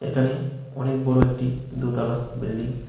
এখানে অনেক বড় একটি দোতালা বিল্ডিং ।